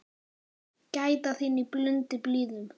Gæta þín í blundi blíðum.